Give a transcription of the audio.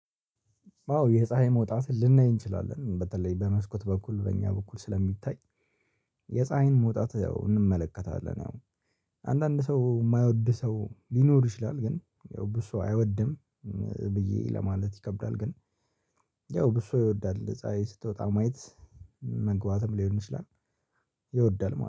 አዎ የፀሀይ መውጣትን ልናይ እንችላለን በተለይ በመስኮት በኩል በእኛ በኩል ስለሚታይ። የፀሀይን መውጣት ያው እንመለከታለን ያው። አንዳንድ ሰው የማይወድ ሰው ሊኖር ይችላል። ግን ያው ብዙ ሰው አይወድም። ብዬ ለማለት ይከብዳል። ግን ያው ብዙ ይወዳል ፀሀይ ስትወጣ ማየት። መግባትም ሊሆን ይችላል ይወዳል